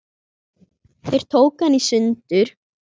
Þeir tóku hana í sundur.